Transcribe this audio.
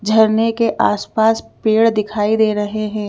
झरने के आसपास पेड़ दिखाई दे रहे हैं।